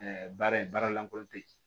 baara in baara lankolon te yen